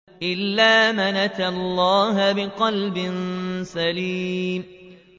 إِلَّا مَنْ أَتَى اللَّهَ بِقَلْبٍ سَلِيمٍ